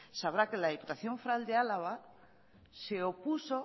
sabrá que la diputación foral de álava se opuso